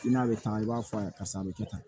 I n'a bɛ taa i b'a fɔ a ye karisa a bɛ kɛ tan